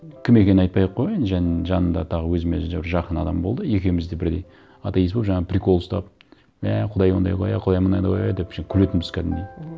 кім екенін айтпай ақ қояйын жанымда тағы өзіме жақын адам болды екеуіміз де бірдей атеист болып жаңа прикол ұстап мә құдай ондай ғой иә құдай мындай ғой иә әшейін күлетінбіз кәдімгідей мхм